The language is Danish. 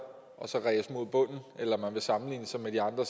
og så ræse mod bunden eller at man vil sammenligne sig med de andre